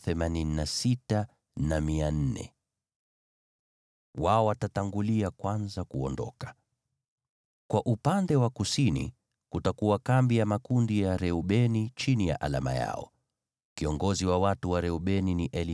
Kwa upande wa kusini kutakuwa kambi ya makundi ya Reubeni chini ya alama yao. Kiongozi wa watu wa Reubeni ni Elisuri mwana wa Shedeuri.